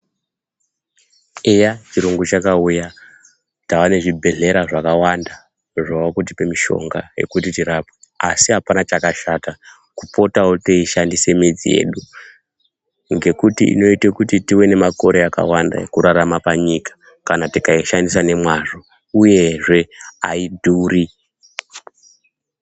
Eya chiyungu chakauya, tava nezvibhedhlera zvakawanda, zvava kutipa mishonga ekuti tirapwe, asi apana chakashata kupotawo teishandise midzi yedu ngekuti inoite kuti tive nemakare akawanda ekurarama panyika kana tikaishandisa nemwazvo uyezve aidhuri.